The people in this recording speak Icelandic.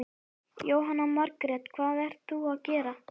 Jóhanna Margrét: Hvað ert þú að gera?